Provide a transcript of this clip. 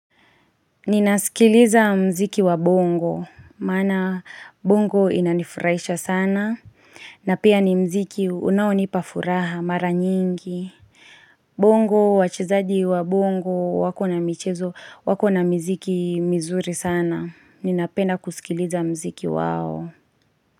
Ninasikiliza muziki wa bongo, maana bongo inanifurahisha sana na pia ni muziki unaonipa furaha mara nyingi Bongo, wachezaji wa bongo wako na michezo, wako na miziki mizuri sana, ninapenda kusikiliza muziki wao.